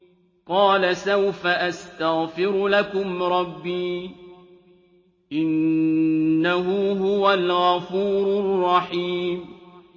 قَالَ سَوْفَ أَسْتَغْفِرُ لَكُمْ رَبِّي ۖ إِنَّهُ هُوَ الْغَفُورُ الرَّحِيمُ